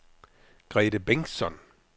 Grethe Bengtsson